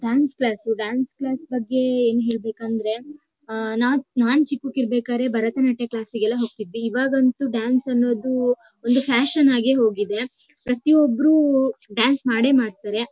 Dance class . Dance class ಬಗ್ಗೆ ಏನ್ ಹೇಳ್ಬೇಕಂದ್ರೆ ಆಹ್ಹ್ ನಾನ್ ನಾನ್ ಚಿಕ್ಕಕ್ ಇರ್ಬೇಕಾದ್ರೆ ಭರತನಾಟ್ಯ ಕ್ಲಾಸ್ ಗೆಲ್ಲಾ ಹೋಗ್ತಿದ್ವಿ.ಇವಾಗಂತೂ ಡ್ಯಾನ್ಸ್ ಅನ್ನೋದು ಒಂದು ಫ್ಯಾಷನ್ ಆಗೇ ಹೋಗಿದೆ. ಪ್ರತಿಯೊಬ್ಬರು ಡ್ಯಾನ್ಸ್ ಮಾಡೇ ಮಾಡ್ತಾರೆ .